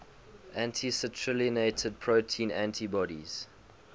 anti citrullinated protein antibodies